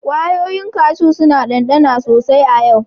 Kwayoyin kashu suna dandana sosai a yau.